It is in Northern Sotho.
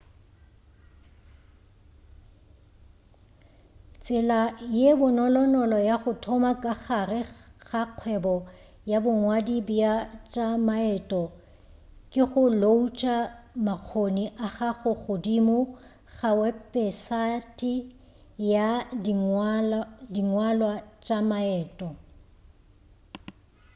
tsela ye bonolonolo ya go thoma ka gare ga kgwebo ya bongwadi bja tša maeto ke go loutša makgoni a gago godimo ga wepesate ya dingwalwa tša maeto